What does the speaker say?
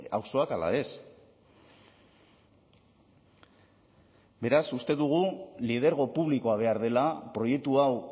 auzoak ala ez beraz uste dugu lidergo publikoa behar dela proiektu hau